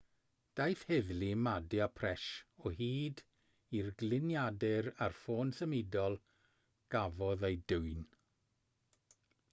daeth heddlu madhya pradesh o hyd i'r gliniadur a'r ffôn symudol gafodd eu dwyn